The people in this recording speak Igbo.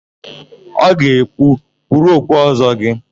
Ọ ga-ekwu, "kpuru okpu Ọ́zọ́ gị"!